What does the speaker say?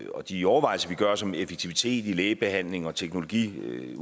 og de overvejelser vi gør os om effektivitet i lægebehandlingen og teknologiudviklingen